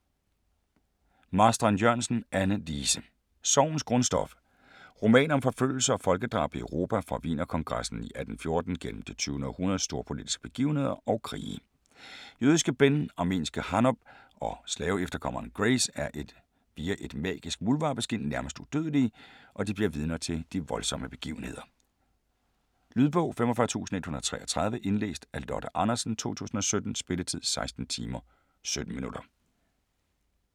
Marstrand-Jørgensen, Anne Lise: Sorgens grundstof Roman om forfølgelse og folkedrab i Europa fra Wienerkongressen i 1814 gennem det 20. århundredes storpolitiske begivenheder og krige. Jødiske Ben, armenske Hanob og slaveefterkommeren Grace er via et magisk muldvarpeskind nærmest udødelige, og de bliver vidner til de voldsomme begivenheder. Lydbog 45133 Indlæst af Lotte Andersen, 2017. Spilletid: 16 timer, 17 minutter.